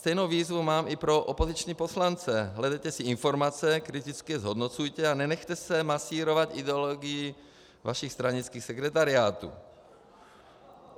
Stejnou výzvu mám i pro opoziční poslance: Hledejte si informace, kriticky je zhodnocujte a nenechte se masírovat ideologií vašich stranických sekretariátů.